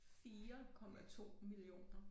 4,2 millioner